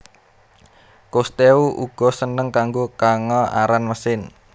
Cousteau uga seneng karo kanga aran mesin